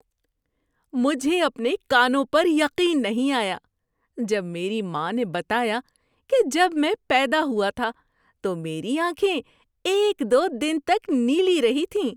مجھے اپنے کانوں پر یقین نہیں آیا جب میری ماں نے بتایا کہ جب میں پیدا ہوا تھا تو میری آنکھیں ایک دو دن تک نیلی رہی تھیں۔